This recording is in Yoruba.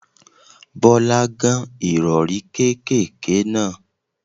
Bọ́lá gán Ìrọ̀rí kékèké náà.